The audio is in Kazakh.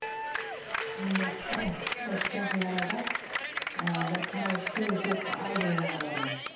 енді осы жақын арада ы бір қараушы келіншек алдым мен оларға